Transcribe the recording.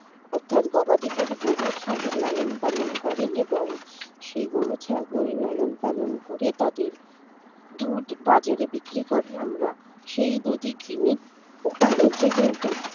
অর্থাৎ গবাদিপশু গরু ছাগল লালন পালন করেন এবং সেই গরু ছাগল লালন-পালন করে তাদের দুধ বাজারে বিক্রি করে আমরা সেই দুধই কিনি তাদেরকে কিন্তু